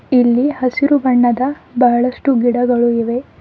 ಇಲ್ಲಿ ಹಸಿರು ಬಣ್ಣದ ಬಹಳಷ್ಟು ಗಿಡಗಳು ಇವೆ.